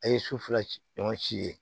A ye su fila ɲɔgɔn si ye